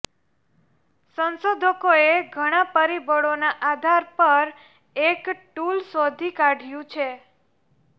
સંશોધકોએ ઘણા પરિબળોના આધાર પર એક ટૂલ શોધી કાઢ્યું છે